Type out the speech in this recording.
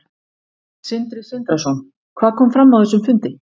Sindri Sindrason: Hvað kom fram á þessum fundi?